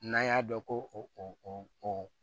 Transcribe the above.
N'an y'a dɔn ko o